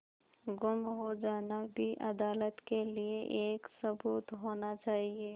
गुम हो जाना भी अदालत के लिये एक सबूत होना चाहिए